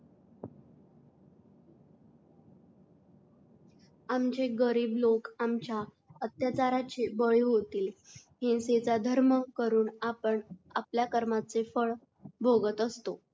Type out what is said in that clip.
आमचे गरीब लोक आमच्या अत्याचाराचे बाळी होतील. हिंसेचा धर्म करून आपण आपल्या कर्माचे फळ भोगत असतो